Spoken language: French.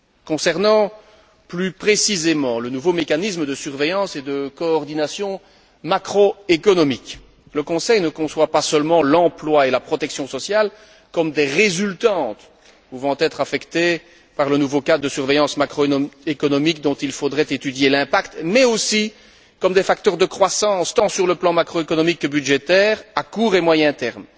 Concernant plus précisément le nouveau mécanisme de surveillance et de coordination macro économique, le Conseil ne conçoit pas seulement l'emploi et la protection sociale comme des résultantes pouvant être affectées par le nouveau cadre de surveillance macro économique dont il faudrait étudier l'impact, mais aussi comme des facteurs de croissance tant sur le plan macro économique que budgétaire, à court et moyen terme.